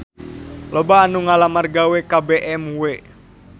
Loba anu ngalamar gawe ka BMW